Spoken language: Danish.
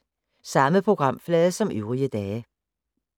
Samme programflade som øvrige dage